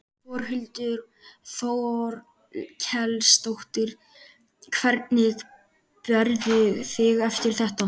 Þórhildur Þorkelsdóttir: Hvernig berðu þig eftir þetta?